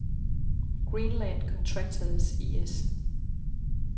Greenland Contractors I/S